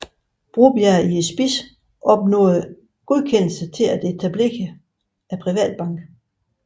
Broberg i spidsen opnåede godkendelse til at etablere Privatbanken